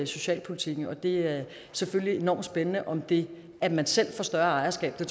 socialpolitikken og det er selvfølgelig enormt spændende om det at man selv får større ejerskab til